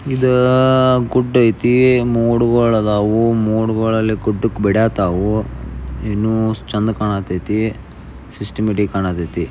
ಇದ ಗುಡ್ಡ ಐತಿ ಮೋಡ್ಗಳು ಇದವು. ಮೋಡಗಳಲ್ಲಿ ಗುಡ್ಡಕ್ಕೆ ಬೀಳತಾವು. ಬಡಯತಾವು ಏನು ಚೆನ್ನ ಕಾಣತೈತಿ ಸಿಸ್ಟಮ್ಯಾಟಿಕ್ ಕಾಣತೈತಿ.